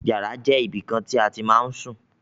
Yàrá jẹ́ ibìkan tí a ma ń sùn.